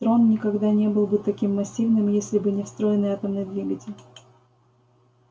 трон никогда не был бы таким массивным если бы не встроенный атомный двигатель